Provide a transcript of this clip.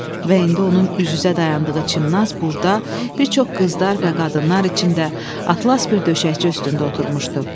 Və indi onun üz-üzə dayandığı Çimnaz burda bir çox qızlar və qadınlar içində atlas bir döşəkçi üstündə oturmuşdu.